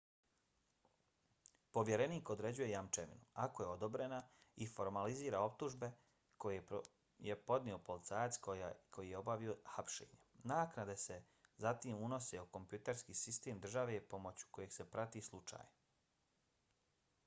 povjerenik određuje jamčevinu ako je odobrena i formalizira optužbe koje je podnio policajac koji je obavio hapšenje. naknade se zatim unose u kompjuterski sistem države pomoću kojeg se prati slučaj